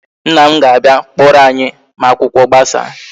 Nna m ga-abịa kpọrọ anyi ma akwụkwọ gbasaa